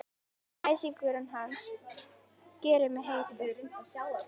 Æsingur hans gerir mig heita.